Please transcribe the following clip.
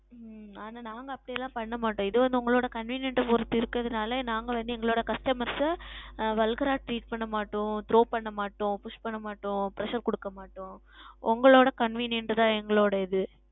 உம் ஆனால் நாங்கள் அப்படி எல்லாம் செய்ய மாட்டோம் இது வந்து உங்கள் Convenient பொருத்து இருப்பதனால் நாங்கள் வந்து எங்களுடைய Customers ஆ Walgar ஆ Treat செய்ய மாட்டோம் Throw செய்ய மாட்டோம் Push செய்ய மாட்டோம் Pressure கொடுக்க மாட்டோம் உங்களுடைய Convenient தான் எங்களுடைய இது